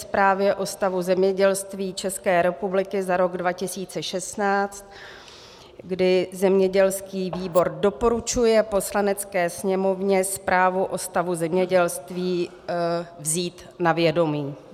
Zprávě o stavu zemědělství České republiky za rok 2016, kdy zemědělský výbor doporučuje Poslanecké sněmovně zprávu o stavu zemědělství vzít na vědomí.